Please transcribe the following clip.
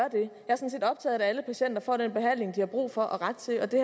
at alle patienter får den behandling de har brug for og ret til og det